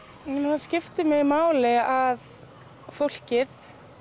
það skiptir mig máli að fólkið